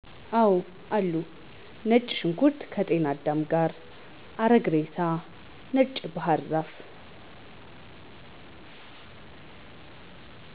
አወአሉ። ነጭ ሽንኩርት ከጤናዳም ጋር፣ አረግ ሬሳ፣ ነጭ ባሕር ዛፍ